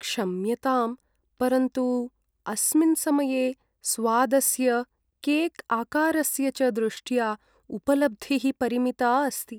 क्षम्यताम्, परन्तु अस्मिन् समये स्वादस्य, केक्आकारस्य च दृष्ट्या उपलब्धिः परिमिता अस्ति।